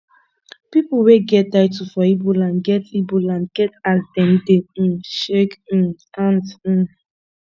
pipo wey get title for ibo land get ibo land get as dem dey um shake um hands um